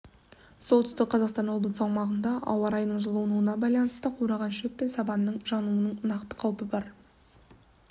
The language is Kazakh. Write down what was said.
солтүстік қазақстан облысы аумағында ауа райының жылынуына байланысты қураған шөп пен сабанның жануының нақты қаупі бар